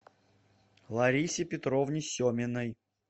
ларисе петровне семиной